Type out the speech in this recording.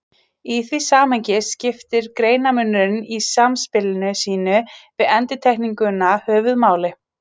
Í því samhengi skiptir greinarmunurinn í samspili sínu við endurtekninguna höfuðmáli.